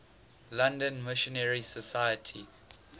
london missionary society